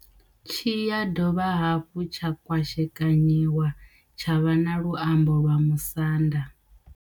Tshi ya dovha hafhu tsha kwashekanyiwa tsha vha na luambo lwa Musanda.